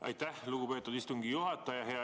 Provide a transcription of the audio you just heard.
Aitäh, lugupeetud istungi juhataja!